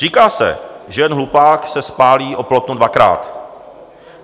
Říká se, že jen hlupák se spálí o plotnu dvakrát.